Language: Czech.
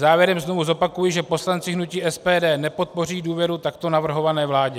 Závěrem znova zopakuji, že poslanci hnutí SPD nepodpoří důvěru takto navrhované vládě.